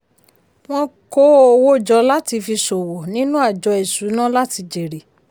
wọ́n kó owó jọ láti fi ṣòwò nínú àjọ ìṣúná láti jèrè.